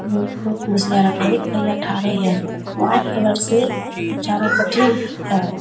ये एक-दो कुर्सियां रखी है एक भईया उठा रहे हैं व्हाइट कलर से चारो पट्टी है